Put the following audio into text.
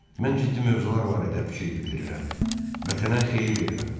Mən ciddi mövzular barədə fikir bildirirəm vətənə xeyir verirəm.